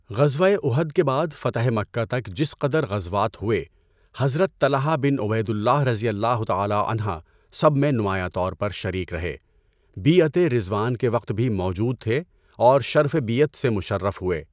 غزوۂ اُحد کے بعد فتحِ مکہ تک جس قدر غزوات ہوئے، حضرت طلحہ بن عُبَیدُ اللہ رضی اللہ تعالیٰ عنہ سب میں نمایاں طور پر شریک رہے، بیعتِ رضوان کے وقت بھی موجود تھے اور شرفِ بیعت سے مُشَرَّف ہوئے۔